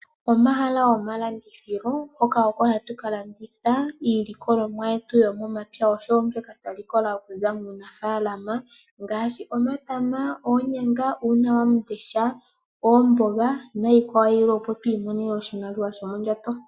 Omahala gomalandithilo hoka oko hatu ka landitha iilikolomwa yetu yomomapya oshowo mbyoka twa likola okuza muunafalama ngaashi omatama, oonyanga, uunawamundesha, oomboga nayilwe yilwe, opo tu imonene oshimaliwa shomondjato.